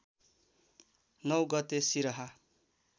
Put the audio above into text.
९ गते सिरहा